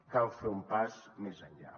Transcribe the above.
cal fer un pas més enllà